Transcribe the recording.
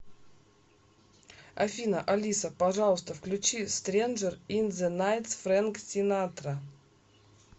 афина алиса пожалуйста включи стренжер ин зе найтс френк синатра